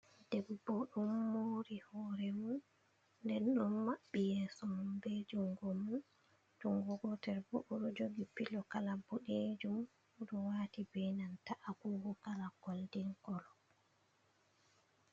Debbo ɗon muri horemum, ɗen ɗon mabbi yeso mum, ɓe jungo mum, jungo gotel ɓo, ɗon jogi pilo kala ɓoɗejum, o ɗo wati binanta agogo, kala goldin kolo.